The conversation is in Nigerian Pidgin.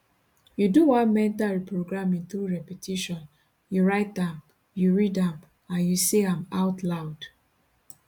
you do one mental reprogramming through repetition you write am you read am and you say am out loud